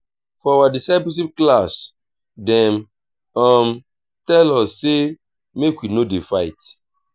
for our discipleship class dem um tell us sey make we no dey fight.